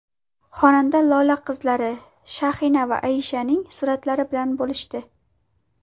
Xonanda Lola qizlari Shahina va Aishaning suratlari bilan bo‘lishdi.